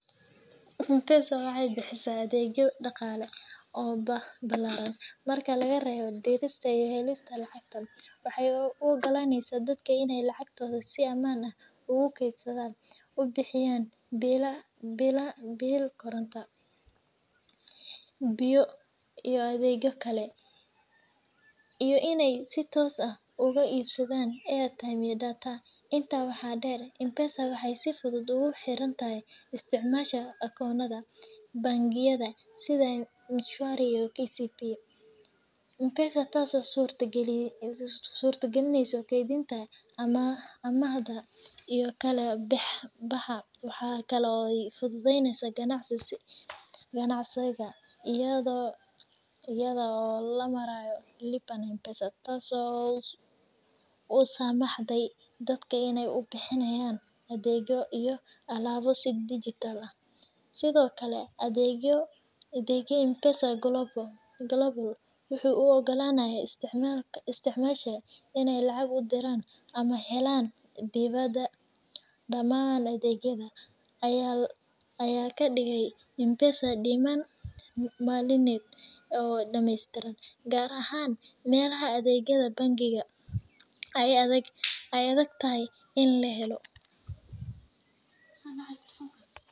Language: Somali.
M-pesa waxay bixisaah adegyo daqale oo ballaran marka lagarebo dirista iyo helista lacagta. waxay u ogolaneysaah dadka inay lacagtoda si amaan ah u kaysadan, u bixiyan bilal koronto, biyo iyo adegyo kale, iyo inay si tos ah uga ibsadan airtime iyo data. Inta waxaa dher, M-pesa waxay sifudud ugu xirirta isticmalayasha akonnada bangiga sida M-shwari iyo KCB M-pesa, taso surtagalineysaah kaydinta, amahda, iyo kala baxa. Waxay kale ay fududeysey ganacsiga ayadhpo lamarayo Lipa na M-pesa , tas oo samaxday dadka inay kubixiyan adegyo iyo alabo si dijital ah. Sidokale adega M-pesa Global wuxu u ogolanayaa isticmalayasha inay lacag udiran ama kahelan dibada. Dhaman adegyadda ayaa kadigaya M-pesa nidam maliyaded oo dameystiran, gar ahaan melaha adegyada bangiyada ay adagtahay in la helo.